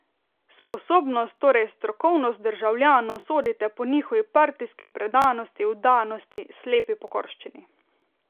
Sposobnost, torej strokovnost državljanov sodite po njihovi partijski predanosti, vdanosti, slepi pokorščini.